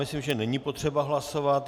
Myslím, že není potřeba hlasovat.